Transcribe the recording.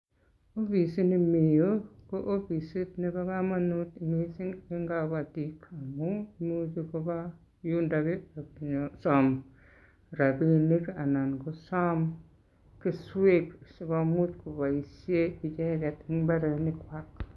Ofisini mi yu, ko ofisit nebo kamanut eng kabatik amun, imuchi koba yundoki pokosom rapinik anan kosom keswek sikomuch kopaishe icheket eng imbaarenikwai.